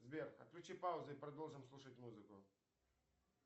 сбер отключи паузу и продолжим слушать музыку